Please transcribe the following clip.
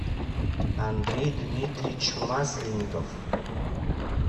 андрей дмитриевич масленников